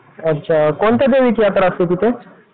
अच्छा कोणत्या देवीची यात्रा असते तिथे?